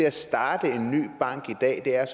at starte en ny bank i dag er